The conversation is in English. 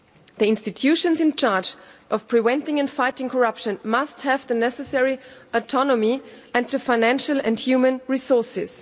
The institutions in charge of preventing and fighting corruption must have the necessary autonomy and the financial and human resources.